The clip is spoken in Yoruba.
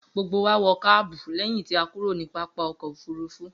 Gbogbo wa wọ káàbù lẹ́yìn tí a kúrò ní pápá ọkọ̀-òfurufú.